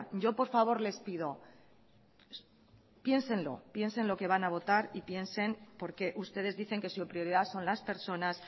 yo por favor les pido piénselo piensen lo que van a votar y piensen porque ustedes dicen que su prioridad son las personas